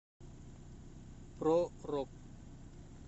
про рок